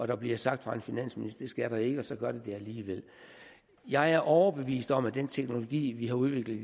der bliver sagt af en finansminister skal den ikke og så gør den det alligevel jeg er overbevist om at den teknologi vi har udviklet